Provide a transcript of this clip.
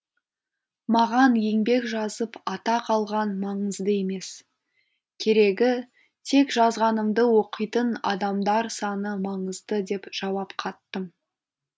маған еңбек жазып атақ алған маңызды емес керегі тек жазғанымды оқитын адамдар саны маңызды деп жауап қаттым